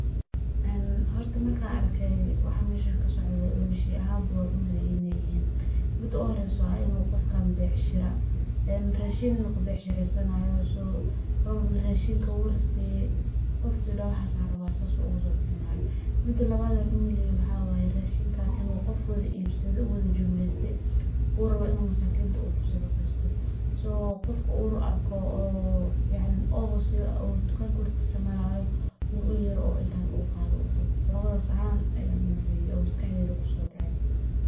Een horta markan arko waxa meshaan kasocdo laba shey ahan inay yihiin, lakini wa mel becshira ah, een rashiin ayu kashageysanaya radhinka wu rasteye gofka rawo mida kale, mida lawad an umaleye waxan umaleya adhigan inu gof wada ibsade jumleste uu rawo inu masakinta uu kusadaqesta oo gofka u rawo inu kuarko uu siyo gofka tukanka hortisa marayo inu uyero istan qato udoho, lawadas ahan aya maskaxdeyda kusodecen.